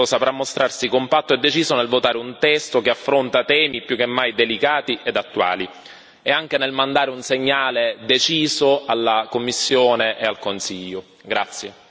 Sono certo che il Parlamento tutto saprà mostrarsi compatto e deciso nel votare un testo che affronta temi più che mai delicati ed attuali e anche nel mandare un segnale deciso alla Commissione e al Consiglio.